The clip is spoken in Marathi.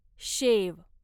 शेव